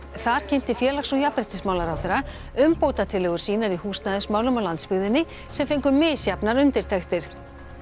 þar kynnti félags og jafnréttismálaráðherra umbótatillögur sínar í húsnæðismálum á landsbyggðinni sem fengu misjafnar undirtektir